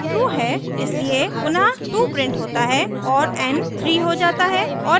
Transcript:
चूँकि यह true है इसलिए पुनः 2 printed होता है और n 3 हो जाता है